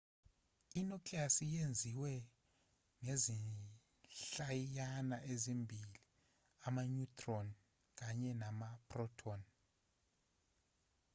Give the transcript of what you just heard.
i-nucleus yenziwe ngezinhlayiyana ezimbili ama-neutron kanye nama-proton